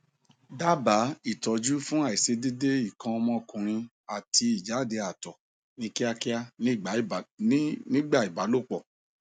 daba itọju fun aisedede ikan omokunrin ati ijade ato ni kiakia nigba ibalopo